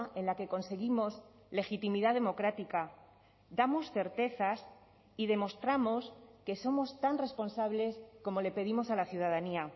en la que conseguimos legitimidad democrática damos certezas y demostramos que somos tan responsables como le pedimos a la ciudadanía